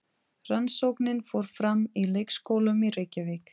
Rannsóknin fór fram í leikskólum í Reykjavík.